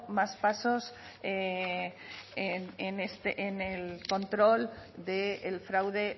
más pasos en el control del fraude